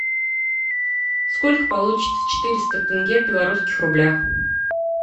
сколько получится четыреста тенге в белорусских рублях